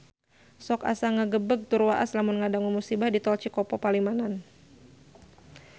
Sok asa ngagebeg tur waas lamun ngadangu musibah di Tol Cikopo Palimanan